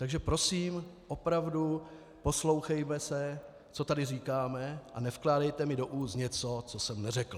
Takže prosím, opravdu poslouchejme se, co tady říkáme, a nevkládejte mi do úst něco, co jsem neřekl!